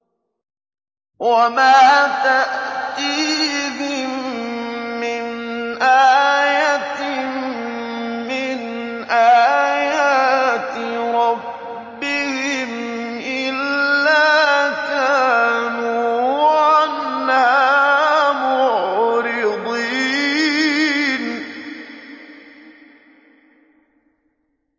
وَمَا تَأْتِيهِم مِّنْ آيَةٍ مِّنْ آيَاتِ رَبِّهِمْ إِلَّا كَانُوا عَنْهَا مُعْرِضِينَ